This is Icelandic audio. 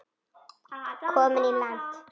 Komin í land.